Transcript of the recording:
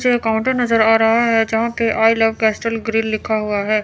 पीछे एक काउंटर नजर आ रहा है यहां पे आई लव कैस्टल ग्रिल लिखा हुआ है।